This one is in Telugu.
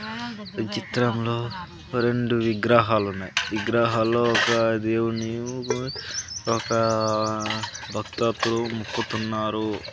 ఈ చిత్రంలో రెండు విగ్రహాలు ఉన్నాయి విగ్రహలో ఒక దేవుడిని ఒక భక్తతో మొక్కుతున్నారు.